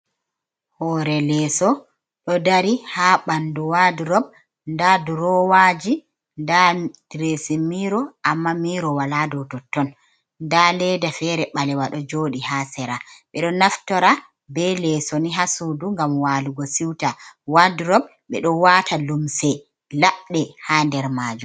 Hoore leeso ɗo dari ha ɓandu wadurop, nda durowaaji nda diresimiro amma miro wala dou totton nda leeda feere ɓalewa ɗo jooɗi ha sera, ɓe ɗo naftora be leeso ni ha suudu ngam waalugo siuta wadurop ɓe ɗo waata lumse labɗe ha nder majum.